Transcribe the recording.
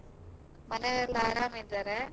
ಮನೇಲಿ ಎಲ್ಲ ಆರಾಮ ಇದ್ದಾರೆ.